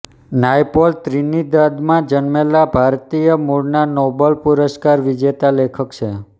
નાયપોલ ત્રિનિદાદમાં જન્મેલ ભારતીય મૂળના નોબલ પુરષ્કાર વિજેતા લેખક છે